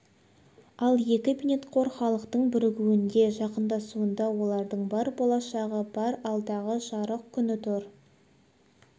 ал екі бейнетқор халықтың бірігуінде жақындасуында олардың бар болашағы бар алдағы жарық күні тұр